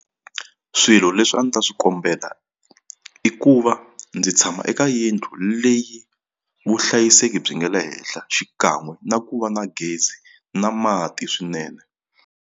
Swilo leswi a ndzi ta swi kombeta i ku va ndzi tshama eka yindlu leyi vuhlayiseki byi nga le henhla xikan'we na ku va na gezi na mati swinene.